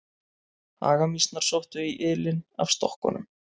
Hagamýsnar sóttu í ylinn af stokkunum.